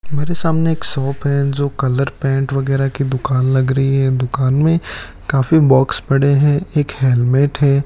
हमारे सामने एक शॉप है जो कलर पेंट वगैरा की दुकान लग रही है दुकान में काफी बॉक्स पड़े हैं एक हेलमेट है।